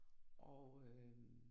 Og øh